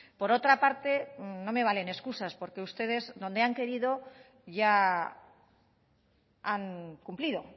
por otra parte no me valen excusas porque ustedes donde han querido ya han cumplido